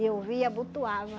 eu via, abotoava.